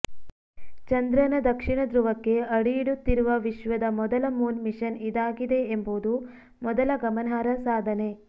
ಚಂದ್ರನ ದಕ್ಷಿಣ ಧ್ರುವಕ್ಕೆ ಅಡಿ ಇಡುತ್ತಿರುವ ವಿಶ್ವದ ಮೊದಲ ಮೂನ್ ಮಿಷನ್ ಇದಾಗಿದೆ ಎಂಬುದು ಮೊದಲ ಗಮನಾರ್ಹ ಸಾಧನೆ